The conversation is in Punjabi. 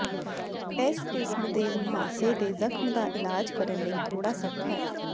ਇਸ ਕਿਸਮ ਦੇ ਮੁਹਾਂਸੇ ਦੇ ਜ਼ਖ਼ਮ ਦਾ ਇਲਾਜ ਕਰਨ ਲਈ ਥੋੜ੍ਹਾ ਸਖਤ ਹੈ